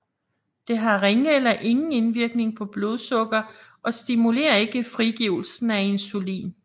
Det har ringe eller ingen indvirkning på blodsukker og stimulerer ikke frigivelsen af insulin